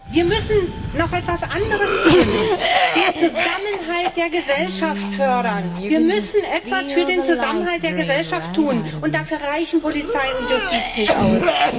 Wir müssen noch etwas anderes tun den Zusammenhalt der Gesellschaft fördern. Wir müssen etwas für den Zusammenhalt der Gesellschaft tun. Und dafür reichen Polizei und Justiz nicht aus.